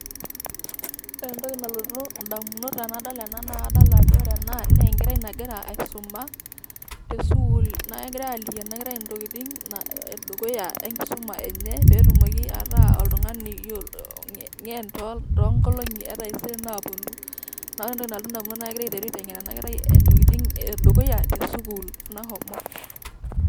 ore entoki nalotu idamunot tenadol ena naa kadol ajo enkerai nagira aisuma tesukul ,naa kegirai aliki enakerai intokitin edukuya enkisuma enye pee etumoki ataa oltung'ani ng'en toongolong'i naapuonu.